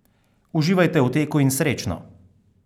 Uživajte v teku in srečno!